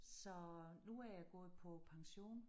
Så nu er jeg gået på pension